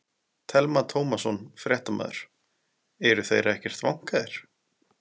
Telma Tómasson, fréttamaður: Eru þeir ekkert vankaðir?